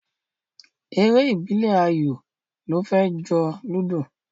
Eré ìbílẹ̀ ayò ló fẹ́ jọ Ludo